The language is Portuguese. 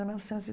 mil novecentos e